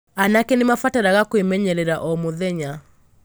Anake nĩ mabataraga kwĩmenyerera o mũthenya.